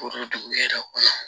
dugu jɛra ko